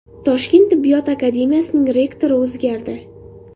Toshkent tibbiyot akademiyasining rektori o‘zgardi.